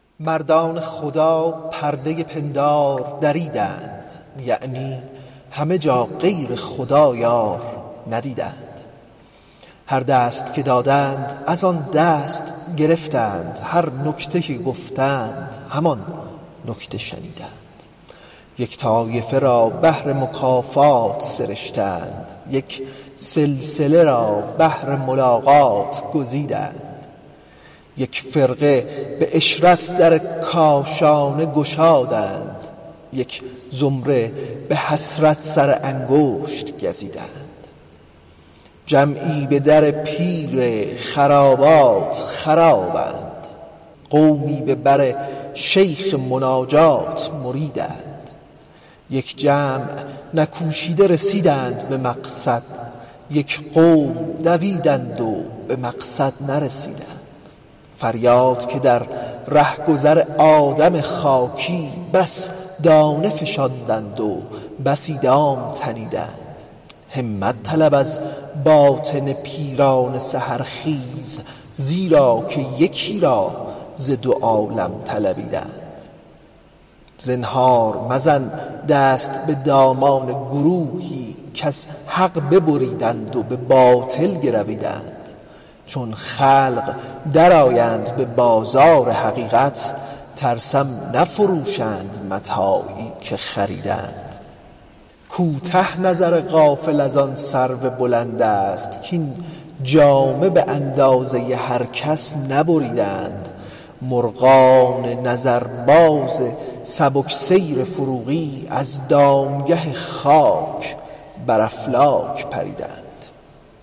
مردان خدا پرده پندار دریدند یعنی همه جا غیر خدا یار ندیدند هر دست که دادند از آن دست گرفتند هر نکته که گفتند همان نکته شنیدند یک طایفه را بهر مکافات سرشتند یک سلسله را بهر ملاقات گزیدند یک فرقه به عشرت در کاشانه گشادند یک زمره به حسرت سر انگشت گزیدند جمعی به در پیر خرابات خرابند قومی به بر شیخ مناجات مریدند یک جمع نکوشیده به مقصود رسیدند یک قوم دویدند و به مقصد نرسیدند فریاد که در رهگذر آدم خاکی بس دانه فشاندند و بسی دام تنیدند همت طلب از باطن پیران سحرخیز زیرا که یکی را ز دو عالم طلبیدند زنهار مزن دست به دامان گروهی کز حق ببریدند و به باطل گرویدند چون خلق درآیند به بازار حقیقت ترسم نفروشند متاعی که خریدند کوتاه نظر غافل از آن سرو بلند است کاین جامه به اندازه هر کس نبریدند مرغان نظرباز سبک سیر فروغی از دامگه خاک بر افلاک پریدند